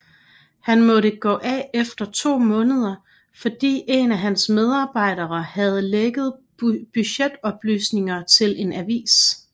Han måtte gå af efter 2 måneder fordi en af hans medarbejdere havde lækket budgetoplysninger til en avis